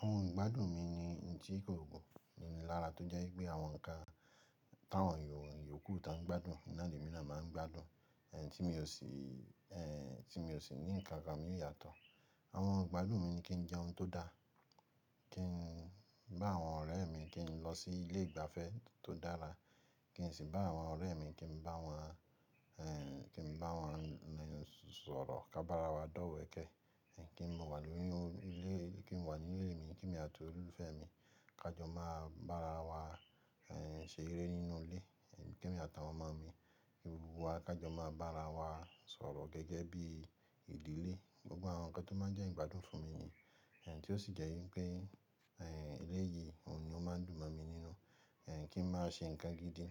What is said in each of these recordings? Àwọn ìgbádùn mi ni n tí kò gùn, nini lára tó jẹ́ wípẹ́ àwọn nǹkan táwọn ènìyàn yòókù tọ́n ń gbádùn, n náà l'èmi náà máa ń gbádùn, èh, tí mi ò sì, tí mi ò sì ní nǹkan kan míì yàtọ̀. Àwọn ìgbádùn mi ni kí n jẹun tó dáa, kí ń bá àwọn ọ̀rẹ́ mi, kí n lọ sí ilé ìgbafẹ́ tó dára, kí n sì bá àwọn ọ̀rẹ́ mi kí n bá wọn, kí n bá wọn sọ̀rọ̀, ká bá ara wa dọ́wẹ̀ẹ́kẹ̀ Ẹ̀ kí n wà nínú ilé, kí n wà nílé mi, kí èmi àti olólùfẹ́ mi, ká jọ máa bá ara wa ṣeré nínú ilé, kí èmi àtàwọn ọmọ mi, gbogbo wa ká jọ máa bá ara wa sọ̀rọ̀ gẹ́gẹ́ bí ìdílé. Gbogbo àwọn nǹkan tó máa ń jẹ́ ìgbádùn fún mi ni. Tí ó sì jẹ́ wípẹ́, eléyìí òun ni ó máa ń dùn mọ̀ mi nínú. Kí ń máa ṣe nǹkan gidi,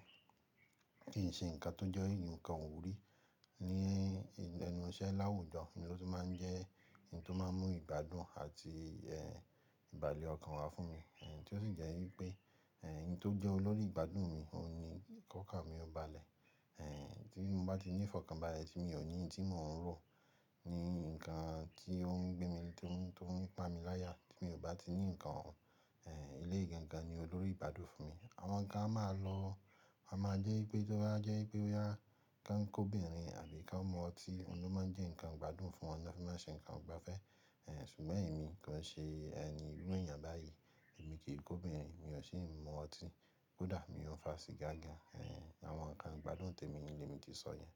kí ń ṣe nǹkan tó jẹ́ nǹkan ìwúrí. Ni ẹnu iṣẹ́ láwùjọ ni ó tún máa ń jẹ́ ohun tó máa ń mú ìgbádùn àti ìbàlẹ̀-ọkàn wá fún mi. Tí ó sì jẹ́ wípé, n tó jẹ́ olórí ìgbádùn mi, òun ni k'ọ́kàn mi ó balẹ̀. Tí mo bá ti nífọ̀kànbalẹ̀ tí mi ò ní n tí mò ń rò, ní nǹkan tí ó ń gbé mi, tí ó tó ń pá mi láyà, tí mi ò bá ti ní nǹkan ọ̀hún, eléyìí gangan ni olórí ìgbádùn fún mi. Àwọn kan a máa lò, a máa jẹ́ wípẹ́ tó bá jẹ́ wípẹ́ bóyá kán kóbìnrin àbí kán mu ọtí, òun ni ó máa ń jẹ́ ǹnkan ìgbádùn fún wọn, l'ọ́n fi máa ń ṣe ǹnkan ìgbafẹ́. Ṣùgbọ́n èmi kò ń ṣe ẹni irú èèyàn báyìí, èmi kì í kóbìnrin, mi ò sì ń mu ọtí, kódà mi ò ń fa sìgá gan-an. Àwọn nǹkan ìgbádùn tèmi ni l'èmi ti sọ yẹn.